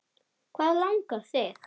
Hvað langar þig?